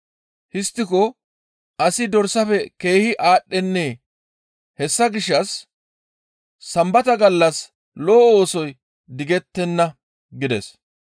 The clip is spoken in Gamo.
Histtiko asi dorsafe keehi aadhdhennee? Hessa gishshas Sambata gallas lo7o oosoy digettenna» gides.